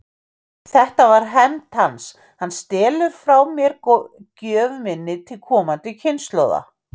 Þetta er hefnd hans: hann stelur frá mér gjöf minni til komandi kynslóða.